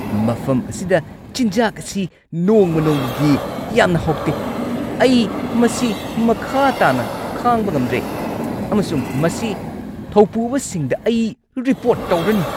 ꯃꯐꯝ ꯑꯁꯤꯗ ꯆꯤꯟꯖꯥꯛ ꯑꯁꯤ ꯅꯣꯡꯃ-ꯅꯣꯡꯃꯒꯤ ꯌꯥꯝꯅ ꯍꯥꯎꯇꯦ꯫ ꯑꯩ ꯃꯁꯤ ꯃꯈꯥ ꯇꯥꯅ ꯈꯥꯡꯕ ꯉꯝꯗ꯭ꯔꯦ ꯑꯃꯁꯨꯡ ꯃꯁꯤ ꯊꯧꯄꯨꯕꯁꯤꯡꯗ ꯑꯩ ꯔꯤꯄꯣꯔꯠ ꯇꯧꯔꯅꯤ꯫